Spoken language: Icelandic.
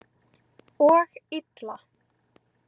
Og illa.